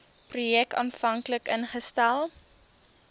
projek aanvanklik ingestel